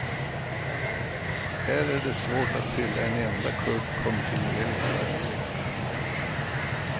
Här är det svårt att fylla en enda klubb kontinuerligt varje vecka.